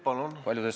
Palun!